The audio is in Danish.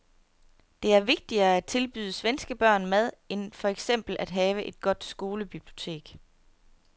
Det er vigtigere at tilbyde svenske børn mad end for eksempel at have et godt skolebibliotek.